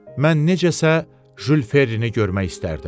Mən necəsə Jül Ferrini görmək istərdim.